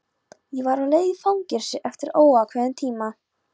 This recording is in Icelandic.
Ég var á leið í fangelsi eftir óákveðinn tíma.